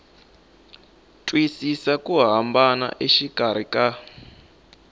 twisisa ku hambana exikarhi ka